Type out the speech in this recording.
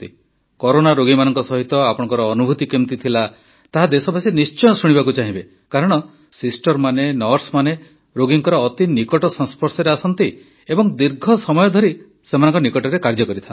corona ରୋଗୀମାନଙ୍କ ସହିତ ଆପଣଙ୍କ ଅନୁଭୂତି କିଭଳି ଥିଲା ତାହା ଦେଶବାସୀ ନିଶ୍ଚୟ ଶୁଣିବାକୁ ଚାହିଁବେ କାରଣ ସିଷ୍ଟର୍ମାନେ ନର୍ସମାନେ ରୋଗୀଙ୍କ ଅତି ନିକଟ ସଂସ୍ପର୍ଶରେ ଆସନ୍ତି ଏବଂ ଦୀର୍ଘ ସମୟ ଧରି ସେମାନଙ୍କ ନିକଟରେ କାର୍ଯ୍ୟ କରନ୍ତି